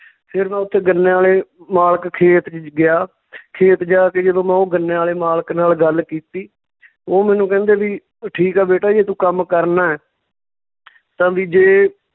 ਫਿਰ ਮੈਂ ਉੱਥੇ ਗੰਨਿਆਂ ਵਾਲੇ ਮਾਲਕ ਖੇਤ ਵਿੱਚ ਗਿਆ ਖੇਤ ਜਾ ਕੇ ਜਦੋਂ ਮੈਂ ਉਹ ਗੰਨਿਆਂ ਵਾਲੇ ਮਾਲਕ ਨਾਲ ਗੱਲ ਕੀਤੀ ਉਹ ਮੈਨੂੰ ਕਹਿੰਦੇ ਵੀ ਠੀਕ ਆ ਬੇਟਾ ਜੇ ਤੂੰ ਕੰਮ ਕਰਨਾ ਤਾਂ ਵੀ ਜੇ